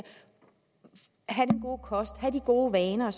at have den gode kost have de gode vaner